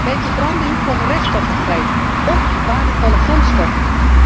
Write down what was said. Bij verbranding komen reststoffen vrij, óók waardevolle grondstoffen.